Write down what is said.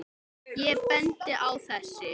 Ég bendi á þessi